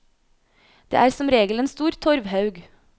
Det er som regel en stor torvhaug.